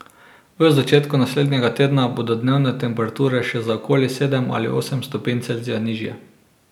V začetku naslednjega tedna bodo dnevne temperature še za okoli sedem ali osem stopinj Celzija nižje.